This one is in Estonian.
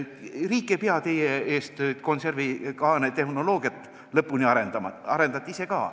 Riik ei pea teie eest konservikaane tehnoloogiat lõpuni arendama, te arendate seda ise ka.